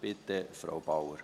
Bitte, Frau Bauer.